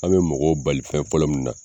An bɛ mɔgɔw bali fɛn fɔlɔ min na.